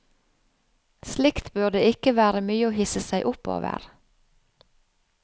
Slikt burde ikke være mye å hisse seg opp over.